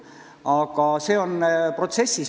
Aga see protsess käib.